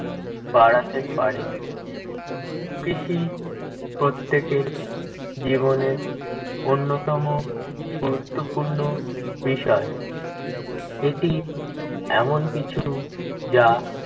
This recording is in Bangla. বাড়াতে পারে। কৃষি প্রত্যেকের জীবনের অন্যতম গুরুত্বপূর্ণ বিষয়। এটি এমনকিছু যা